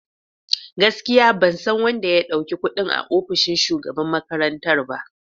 Gaskiya! Ban san wanda ya dauki kudin a ofishin shugaban makarantar ba.